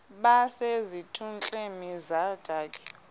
base zitulmeni zedaka